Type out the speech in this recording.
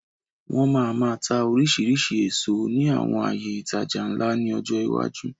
Wọn máa máa tá oríṣiríṣi èso ní àwọn àyè ìtajà ńlá ni ọjọ́ iwájú.